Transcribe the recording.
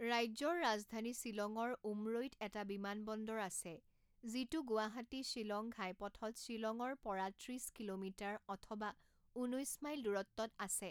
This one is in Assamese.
ৰাজ্যৰ ৰাজধানী শ্বিলঙৰ উমৰৈত এটা বিমানবন্দৰ আছে যিটো গুৱাহাটী শ্বিলং ঘাইপথত শ্বিলঙৰ পৰা ত্ৰিছ কিলোমিটাৰ অথবা ঊনৈছ মাইল দূৰত্বত আছে।